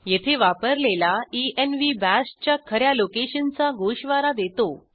येथे वापरलेला env bash च्या ख या लोकेशनचा गोषवारा देतो